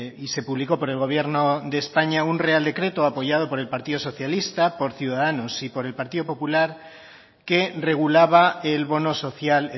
y se publicó por el gobierno de españa un real decreto apoyado por el partido socialista por ciudadanos y por el partido popular que regulaba el bono social